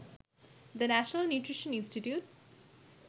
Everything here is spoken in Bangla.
the national nutrition institute